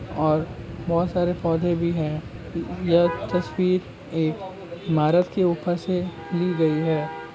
और बहुत सारे पौधे भी है यह तस्वीर एक इमारत के ऊपर से ली गई है।